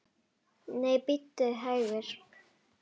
Nei, bíddu hægur!